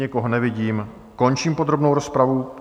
Nikoho nevidím, končím podrobnou rozpravu.